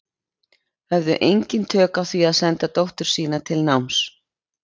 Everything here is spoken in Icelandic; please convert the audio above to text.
Höfðu engin tök á því að senda dóttur sína til náms.